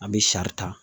An bɛ sari ta